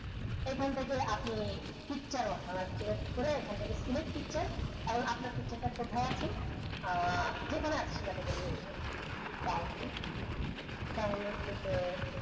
এখান থেকে আপনি picture করে select picture এবং আপনার picture টা কোথায় আছে আহ যে কোন এক জায়গা থেকে নিয়ে নিবো download download থেকে